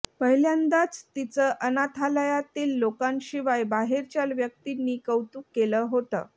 पहिल्यांदाच तीचं अनाथालयातील लोकांशिवाय बाहेरच्या व्यक्तींनी कौतुक केलं होतं